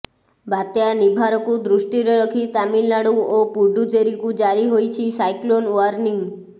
ବାତ୍ୟା ନିଭାରକୁ ଦୃଷ୍ଟିରେ ରଖି ତାମିଲନାଡୁ ଓ ପୁଡୁଚେରୀକୁ ଜାରି ହୋଇଛି ସାଇକ୍ଲୋନ ଓ୍ୱାର୍ଣ୍ଣିଂ